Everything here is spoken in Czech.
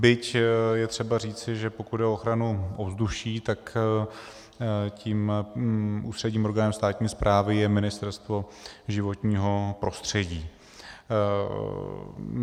Byť je třeba říci, že pokud jde o ochranu ovzduší, tak tím ústředním orgánem státní správy je Ministerstvo životního prostředí.